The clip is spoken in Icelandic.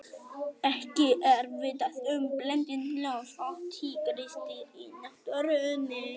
ekki er vitað um blending ljóns og tígrisdýrs í náttúrunni